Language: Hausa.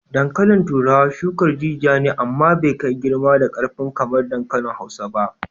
Dankalin turawa shukar jijiya ne amma bai kai girma da karfi kamar dankali Hausa ba.